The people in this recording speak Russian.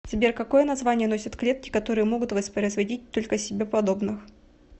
сбер какое название носят клетки которые могут воспроизводить только себе подобных